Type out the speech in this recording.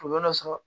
Kɔlɔlɔ dɔ sɔrɔ